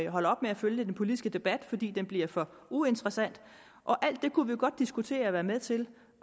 holder op med at følge den politiske debat fordi den bliver for uinteressant og alt det kunne vi jo godt diskutere og være med til